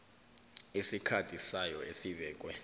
isikhathi sayo esibekwe